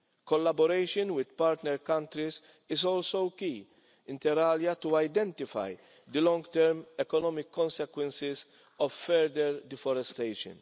collaboration with partner countries is also key, inter alia, to identifying the long term economic consequences of further deforestation.